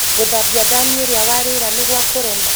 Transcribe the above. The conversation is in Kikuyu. gũthabia thanĩ iria warĩĩra nĩgwakũrema?